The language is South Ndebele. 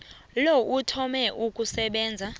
lo uthome ukusebenza